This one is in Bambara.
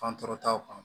Fan tɔɔrɔ taw kan